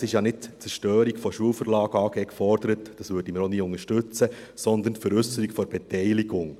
es ist ja nicht die Zerstörung der Schulverlag plus AG gefordert – dies würden wir auch nie unterstützen –, sondern die Veräusserung der Beteiligung.